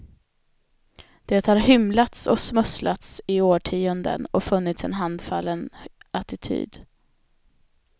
Det har hymlats och smusslats i årtionden och funnits en handfallen attityd.